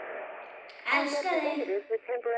Elska þig.